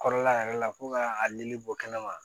Kɔrɔla yɛrɛ la ko ka a nili bɔ kɛnɛ ma